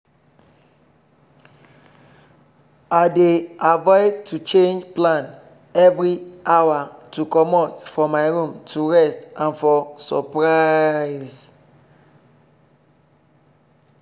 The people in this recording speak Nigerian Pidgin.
i dey avoid to change plan every hour to comot for my room to rest and for surprise.